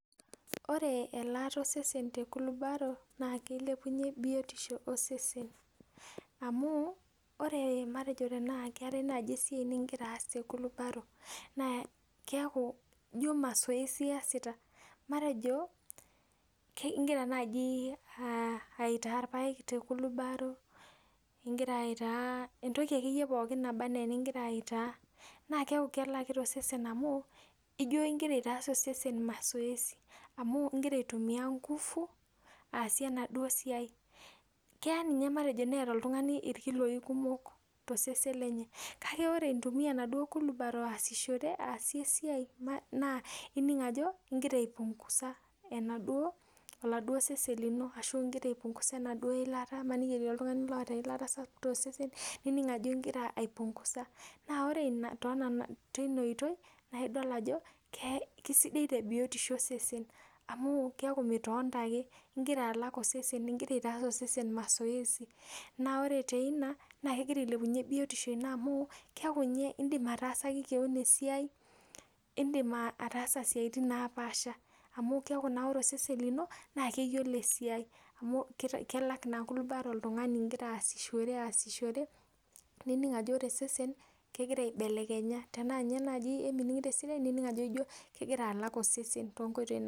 Ore elaata osesen te kulubaro naakilepunye biotisho osesen amu ore matejo tenakeetae naaji esiai nigira aas te kulubaro naa keeku ijo mazoezi iyasita, igira naai aitaa irpaek te kulubaro, igira aitaa entoki akeyie pookin naba enaa enigira aitaa naa keeku kelakita osesen amu igira aitaas osesen mazoezi amu igira aitumia nguvu aasie enaduo siai. Keya ninye neeta oltung'ani matejo irkiloi kumok tosesen lenye. Kake ore intumia ena kulubaro aasishore, aasie e siai naa ining' ajo igira ai punguza oladuo seven lino ashu igira ai punguza enaduo ilata, maniki etii oltung'ani oota eilata tosesen, ninik ajo igira ai punguza. Naa ore teina oitoi, naa idol ajo kesidai te biotishu osesen amu keeku mitonita ake, igira alak osesen. Igira aitaas osesen mazoezi naa ore teina naa kegira ailepunye biotisho ino amu keeku ninye iindim ataasaki keon esiai. Indim ataasa isiaitin naapaasha amu keeku naa ore osesen lino, naa keyiolo esiai amu kelak naa kulubaro oltung'ani igira aasishoore nining' ajo ore osesen kegira aibelekenya. Tenaa ninye naaji emining'ito esidai, ninik ajo kegira alak osesen toonkoitoi napaasha